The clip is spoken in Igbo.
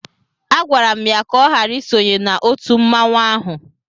Agwara m ya ka ọ ghara isonye na otu mmanwụ ahụ